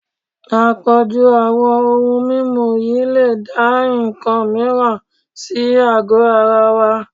Àpọ̀jù àwọn ohun mímu yìí lè dá nǹkan mìíràn sí àgọ́ ara wa